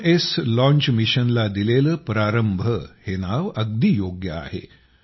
विक्रमएसच्या launch mission ला दिलेले प्रारंभ हे नाव अगदी योग्य आहे